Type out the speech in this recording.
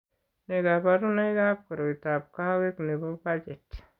Nee kabarunoikab koroitoab kawoik nebo Paget?